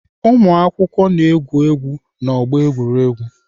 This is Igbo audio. Ụmụakwụkwọ na-egwu egwu n'ọgbọ egwuregwu.